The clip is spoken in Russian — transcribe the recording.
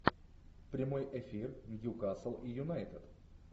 прямой эфир ньюкасл и юнайтед